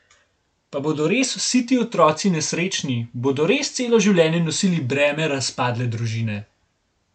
Pa bodo res vsi ti otroci nesrečni, bodo res celo življenje nosili breme razpadle družine?